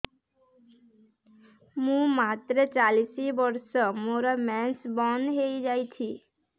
ମୁଁ ମାତ୍ର ଚାଳିଶ ବର୍ଷ ମୋର ମେନ୍ସ ବନ୍ଦ ହେଇଯାଇଛି